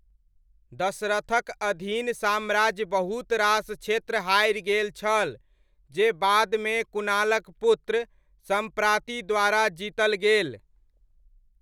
दशरथक अधीन साम्राज्य बहुत रास क्षेत्र हारि गेल छल, जे बादमे कुणालक पुत्र, सम्प्राति द्वारा जीतल गेल।